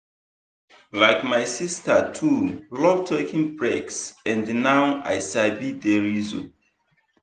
like my sister too love taking breaks and now i sabi the reason.